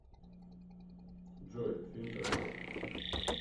джой фильм красотка